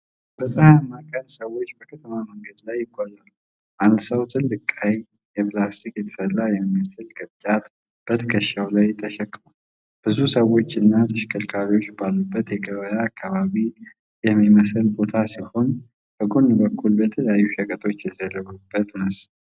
በፀሐያማ ቀን፣ ሰዎች በከተማ መንገድ ላይ ይጓዛሉ። አንድ ሰው ትልቅ፣ ቀይ፣ ከፕላስቲክ የተሠራ የሚመስል ቅርጫት በትከሻው ላይ ተሸክሟል። ብዙ ሰዎችና ተሽከርካሪዎች ባሉበት የገበያ አካባቢ የሚመስል ቦታ ሲሆን፣ በጎን በኩል የተለያዩ ሸቀጦች የተደረደሩበት ይመስላል።